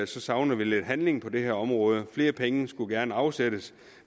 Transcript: savner lidt handling på det her område flere penge skulle gerne afsættes